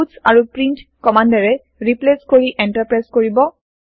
পুৎছ ক প্ৰীন্ট কমান্দেৰে ৰিপ্লেচ কৰি এন্টাৰ প্ৰেছ কৰিব